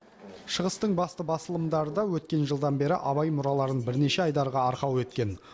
шығыстың басты басылымдары да өткен жылдан бері абай мұраларын бірнеше айдарға арқау еткен